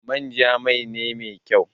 manja Mai ne Mai kyau.